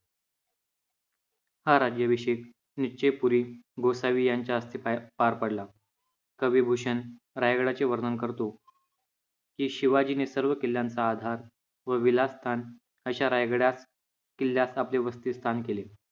हा राज्याभिषेक निश्चयपुरी गोसावी यांच्या हस्ते पार पडला. कवी भूषण रायगडाचे वर्णन करतो की, शिवाजीने सर्व किल्ल्यांचा आधार व विलासस्थान अशा रायगडास किल्ल्यास आपले वसतिस्थान केले.